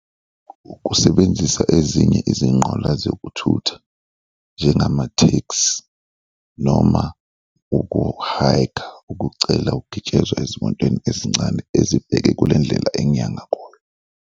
Ukusebenzisa ezinye izinqola zokuthutha njengama-taxi noma uku-hike-a, ukucela ukugitshezwa ezimotweni ezincane ezibheke kule ndlela engiya ngakuyo.